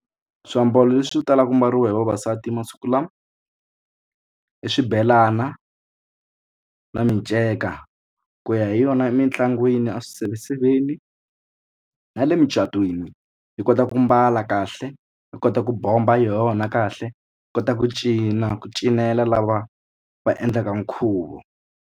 Swiambalo leswi talaka ku ambariwa hi vavasati masiku lama i swibelana na miceka ku ya hi yona emitlangwini a swiseveseveni na le mucatwini hi kota ku mbala kahle u kota ku bomba hi yona kahle hi kota ku cina ku cinela lava va endlaka nkhuvo.